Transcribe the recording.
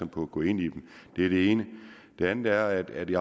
på at gå ind i dem det er det ene det andet er at det